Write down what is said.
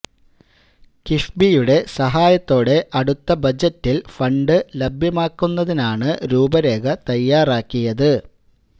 കിഫ്ബിയുടെ സഹായത്തോടെ അടുത്ത ബജറ്റിൽ ഫണ്ട് ലഭ്യമാക്കുന്നതിനാണ് രൂപ രേഖ തയാറാക്കിയത്